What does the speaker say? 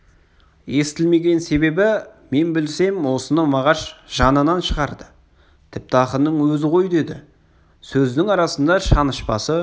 естілмеген себебі мен білсем осыны мағаш жанынан шығарды тіпті ақынның өзі ғой деді сөзінің арасында шанышпасы